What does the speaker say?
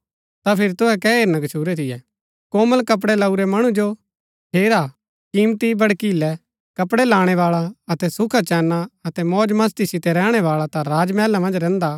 ता फिरी तुहै कै हेरना गच्छुरै थियै कोमल कपड़ै लाऊरै मणु जो हेरा कीमती भड़कीलै कपड़ै लाणै बाळा अतै सुखाचैना अतै मौजमस्‍ती सितै रैहणै बाळा ता राज मैहला मन्ज रैहन्दा